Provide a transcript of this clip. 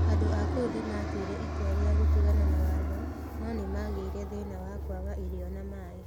Andũ a kũu nĩ maatuire itua rĩa gũtigana na watho, no nĩ magĩire thĩna wa kwaga irio na maĩ.